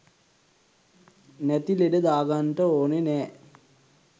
නැති ලෙඩ දාගන්ට ඕන නෑ